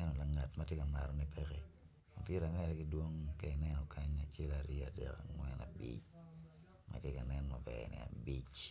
ento ngat ma tye ka matone peke.